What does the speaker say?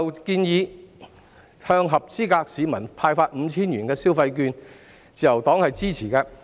關於向合資格市民派發 5,000 元消費券的建議，自由黨是支持的。